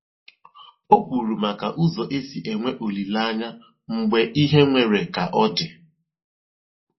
O kwuru maka ụzọ esi enwe olileanya mgbe ihe nwere ka ọ dị